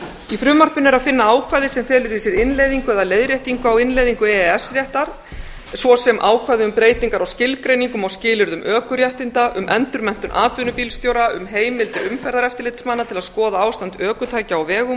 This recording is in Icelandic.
í frumvarpinu er að finna ákvæði sem felur í sér innleiðingu eða leiðréttingu á innleiðingu e e s réttar svo sem ákvæði um breytingar á skilgreiningum og skilyrðum ökuréttinda um endurmenntun atvinnubílstjóra um heimildir umferðareftirlitsmanna til að skoða ástand ökutækja á vegum